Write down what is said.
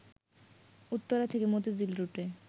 উত্তরা থেকে মতিঝিল রুটে